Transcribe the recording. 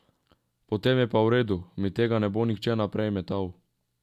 Potem je pa v redu, mi tega ne bo nihče naprej metal.